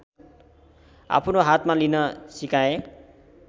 आफ्नो हातमा लिन सिकाए